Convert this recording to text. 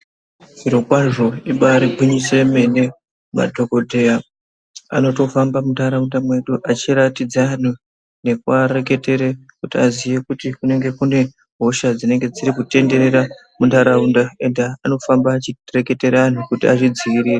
Zvirokwazvo ibari gwinyiso yemene, madhoKoteya anotofamba muntaraunda mwedu achiratidza anhu nekuareketere kuti aziye kuti kunenge kune hosha dzirikutenderera muntaraunda ega anofamba achireketera anhu kuti azvidzivirire.